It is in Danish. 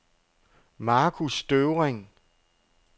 Markus Støvring